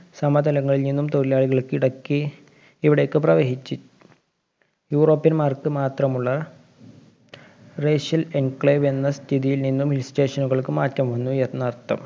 സമതലങ്ങളില്‍ നിന്നും തൊഴിലാളികള്‍ ഇടക്ക് ഇവിടേക്ക് പ്രവഹിച്ചി. യൂറോപ്യന്മാര്‍ക്ക് മാത്രമുള്ള racial enclave എന്ന സ്ഥിതിയില്‍ നിന്നും hill station കള്‍ക്ക് മാറ്റം വന്നുയെന്നർത്ഥം.